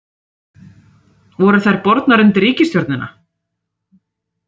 Voru þær bornar undir ríkisstjórnina?